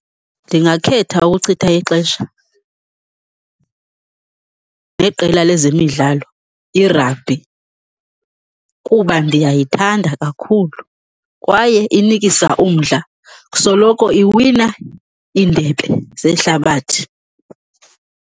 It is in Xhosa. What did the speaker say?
Ndingakhetha ukuchitha ixesha neqela lezemidlalo iragibhi, kuba ndiyayithanda kakhulu kwaye inikisa umdla. Soloko iwina iindebe zehlabathi.